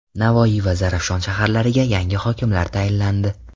Navoiy va Zarafshon shaharlariga yangi hokimlar tayinlandi.